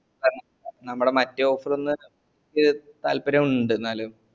നമ്മൾ മറ്റേ offer ന് താൽപര്യം ഇണ്ട് ന്നാലു